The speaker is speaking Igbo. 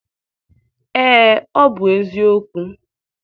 Ee, ọ bụ eziokwu.